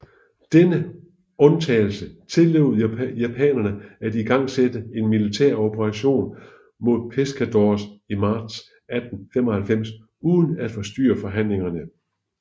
Denne undtagelse tillod japanerne at igangsætte en militær operation mod Pescadores i marts 1895 uden at forstyrre forhandlingerne